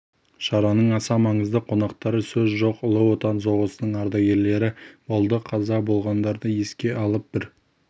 шараның аса маңызды қонақтары сөз жоқ ұлы отан соғысының ардагерлері болды қаза болғандарды еске алып бір